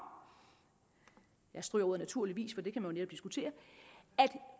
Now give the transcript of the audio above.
jeg stryger ordet naturligvis for det kan man jo netop diskutere at